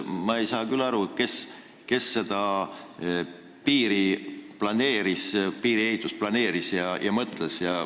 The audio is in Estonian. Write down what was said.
Ma ei saa aru, kes seda piiriehitust planeeris ja neid asju välja mõtles.